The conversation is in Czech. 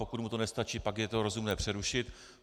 Pokud mu to nestačí, pak je to rozumné přerušit.